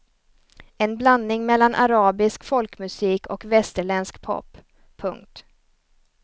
En blandning mellan arabisk folkmusik och västerländsk pop. punkt